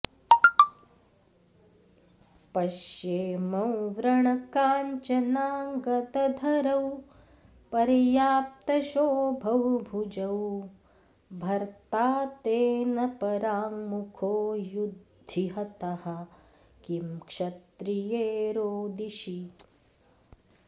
पश्येमौ व्रणकाञ्चनाङ्गदधरौ पर्याप्तशोभौ भुजौ भर्ता ते न पराङ्मुखो युधि हतः किं क्षत्रिये रोदिषि